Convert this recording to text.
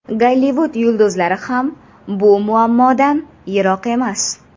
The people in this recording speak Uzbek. Gollivud yulduzlari ham bu muammodan yiroq emas.